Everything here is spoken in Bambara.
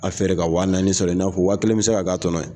A feere ka waa naani sɔrɔ ,i n'a fɔ waa kelen bɛ se ka k'a tɔnɔ ye